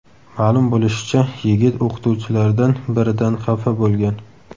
Ma’lum bo‘lishicha, yigit o‘qituvchilardan biridan xafa bo‘lgan.